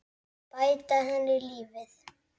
Bæta henni lífið.